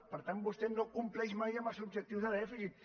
per tant vostè no compleix mai amb els objectius de dèficit